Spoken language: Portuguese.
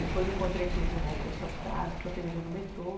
Depois encontrei com ele na época de faculdade, encontrei com ele no metrô.